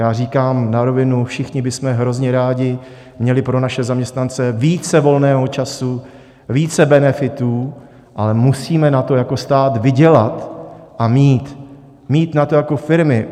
Já říkám na rovinu, všichni bychom hrozně rádi měli pro naše zaměstnance více volného času, více benefitů, ale musíme na to jako stát vydělat a mít, mít na to jako firmy.